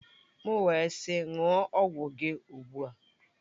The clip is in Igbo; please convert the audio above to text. M wee sị ṅụọ ọgwụ gị ugbu a!